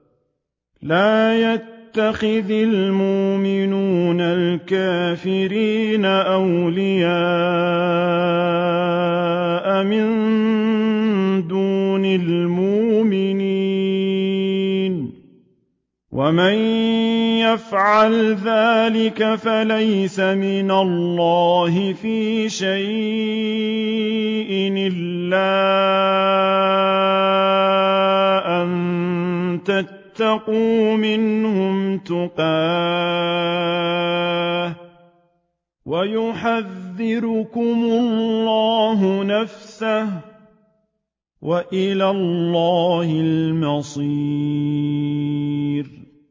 لَّا يَتَّخِذِ الْمُؤْمِنُونَ الْكَافِرِينَ أَوْلِيَاءَ مِن دُونِ الْمُؤْمِنِينَ ۖ وَمَن يَفْعَلْ ذَٰلِكَ فَلَيْسَ مِنَ اللَّهِ فِي شَيْءٍ إِلَّا أَن تَتَّقُوا مِنْهُمْ تُقَاةً ۗ وَيُحَذِّرُكُمُ اللَّهُ نَفْسَهُ ۗ وَإِلَى اللَّهِ الْمَصِيرُ